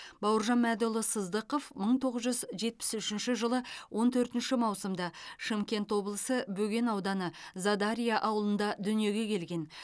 бауыржан мәдіұлы сыздықов мың тоғыз жүз жетпіс үшінші жылы он төртінші маусымда шымкент облысы бөген ауданы задарья ауылында дүниеге келген